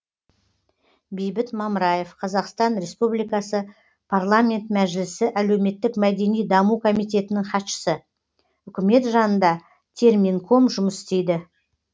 бейбіт мамраев қазақстан республикасы парламент мәжілісі әлеуметтік мәдени даму комитетінің хатшысы үкімет жанында терминком жұмыс істейді